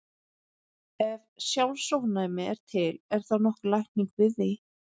Ef sjálfsofnæmi er til, er þá nokkur lækning við því?